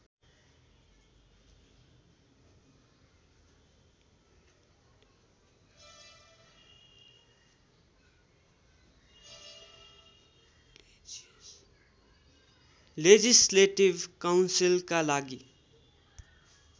legislative काउन्सिलका लागि